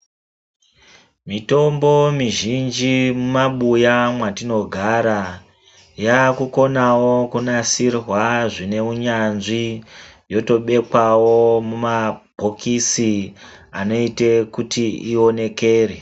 Mitombo mizhinhi mumabuya mwatinogara yaakukonawo kunasirwa zvine unyanzi yotobekwawo muma bhokisi anoite kuti ionekere .